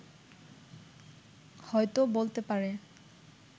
হয়ত বলতে পারে